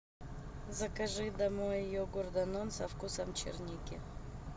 закажи домой йогурт данон со вкусом черники